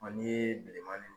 n'i yee bilema ni